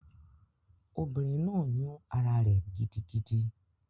Obìnrin náà yún ará rẹ̀ gidigidi